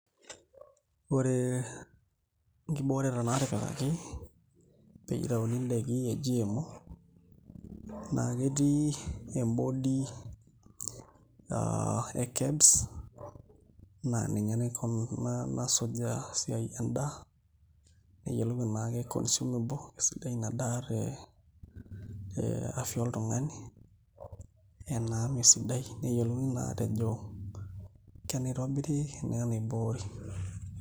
Ore nkibooreta naatipikaki peyie itauni ndaiki e GMO naa ketii embody e KEBS naa ninye nasujaa esiai endaa neyiolou enaa ke consumable, kesidai ina daa te afya oltung'ani enaa mee sidai neyiolouni naa aatejo kenaitobiri enaa enaiboori.